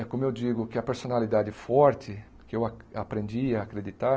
É como eu digo que a personalidade forte, que eu a aprendi a acreditar,